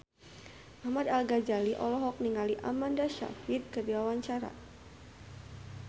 Ahmad Al-Ghazali olohok ningali Amanda Sayfried keur diwawancara